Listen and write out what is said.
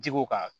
Ji ko kan